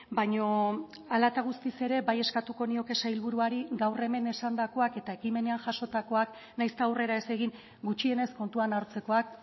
baina hala eta guztiz ere bai eskatuko nioke sailburuari gaur hemen esandakoak eta ekimenean jasotakoak nahiz eta aurrera ez egin gutxienez kontuan hartzekoak